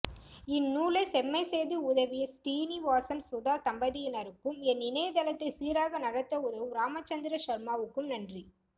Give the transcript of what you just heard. இந்நூலை செம்மைசெய்து உதவிய ஸ்ரீனிவாசன் சுதா தம்பதியினருக்கும் என் இணையதளத்தை சீராக நடத்த உதவும் ராமச்சந்திர ஷர்மாவுக்கும் நன்றி